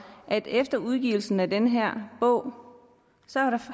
at efter udgivelsen af den her bog